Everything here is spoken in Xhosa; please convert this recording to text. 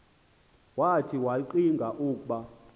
wathi ngakllcinga ukub